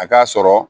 A k'a sɔrɔ